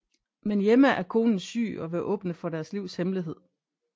Men hjemme er konen syg og vil åbne for deres livs hemmelighed